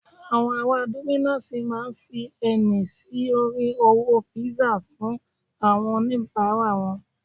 àwọn ará dominos ma fi ẹni sí orí owó pizza fún àwọn onibara wan